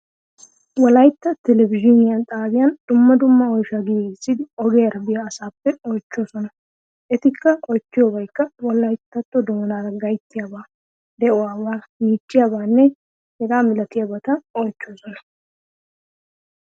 Wolayitta telebizhzhiine xaabiyan dumma dumma oyshaa giigissidi ogiyaara biya asaappe oychchoosona. Eti oychchiyoobaykka wolayttatto doonaaraa gayttabaa, de"uwaabaa, miichchiyaabaanne hegaa malatiyaabata oychchoosona.